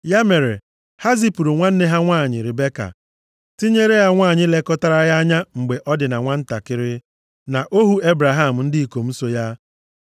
Ya mere, ha zipụrụ nwanne ha nwanyị Ribeka, tinyere nwanyị lekọtara ya anya mgbe ọ dị na nwantakịrị, na ohu Ebraham na ndị ikom so ya.